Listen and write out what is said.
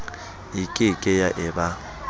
e ke ke ya eba